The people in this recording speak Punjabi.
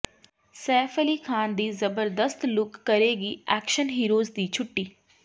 ਸੈਫ ਅਲੀ ਖ਼ਾਨ ਦੀ ਜ਼ਬਰਦਸਤ ਲੁੱਕ ਕਰੇਗੀ ਐਕਸ਼ਨ ਹੀਰੋਜ਼ ਦੀ ਛੁੱਟੀ